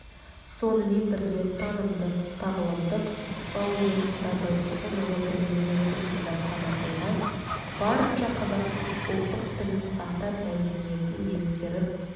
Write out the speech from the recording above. сонымен бірге танымдық-тағылымдық технологиясында байтұрсынұлы біліммен сусындап қана қоймай барынша қазақтың ұлттық ділін сақтап мәдениетін ескеріп